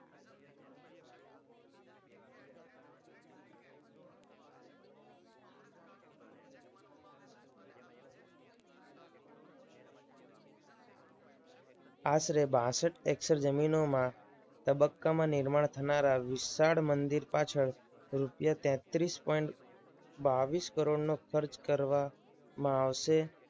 આશરે બાસઠ એકર જમીનમાં તબક્કામાં નિર્માણ થનારા વિશાળ મંદિર પાછળ રૂપિયા તેત્રીસ પોઈન્ટ બાવીસ કરોડનું ખર્ચ કરવામાં આવશે.